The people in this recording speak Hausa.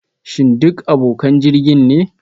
Shin duk abokan jirgin ne?